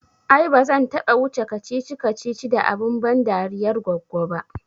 Ai ba zan taɓa wuce wa kacici kacici da abun ban dariyar goggo ba